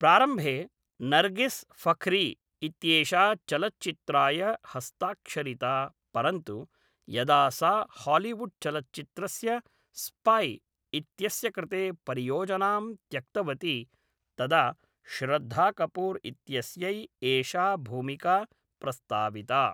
प्रारम्भे नर्गिस् फख्री इत्येषा चलच्चित्राय हस्ताक्षरिता परन्तु यदा सा हालीवुड्चलच्चित्रस्य स्पाय् इत्यस्य कृते परियोजनां त्यक्तवती तदा श्रद्धा कपूर् इत्यस्यै एषा भूमिका प्रस्ताविता।